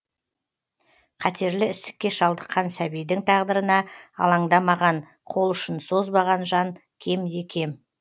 қатерлі ісікке шалдыққан сәбидің тағдырына алаңдамаған қолұшын созбаған жан кемде кем